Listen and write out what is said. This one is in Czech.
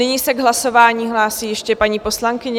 Nyní se k hlasování hlásí ještě paní poslankyně.